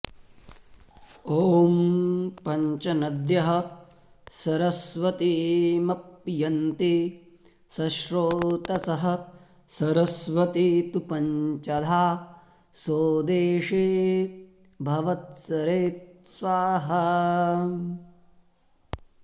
ॐ पञ्च नद्यः सरस्वतीमपियन्ति सश्रोतसः सरस्वती तु पञ्चधा सो देशे भवत्सरित् स्वाहा